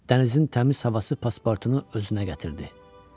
Dənizin təmiz havası paspartunu özünə gətirdi.